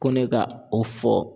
Ko ne ka o fɔ